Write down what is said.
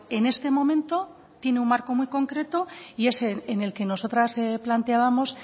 en este momento tiene un marco muy concreto y es en el que nosotras planteábamos